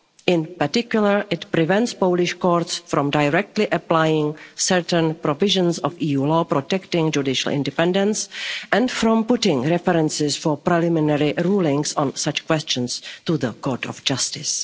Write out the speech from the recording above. In particular, it prevents Polish courts from directly applying certain provisions of EU law protecting judicial independence and from putting references for preliminary rulings on such questions to the Court of Justice.